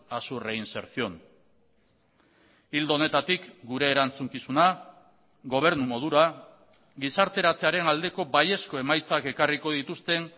a su reinserción ildo honetatik gure erantzukizuna gobernu modura gizarteratzearen aldeko baiezko emaitzak ekarriko dituzten